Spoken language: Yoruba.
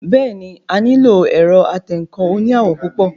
Bẹ́ẹ̀ni, a nílò ẹ̀rọ atẹǹkan oní àwọ̀ púpọ̀